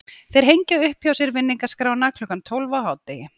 Þeir hengja upp hjá sér vinningaskrána klukkan tólf á hádegi.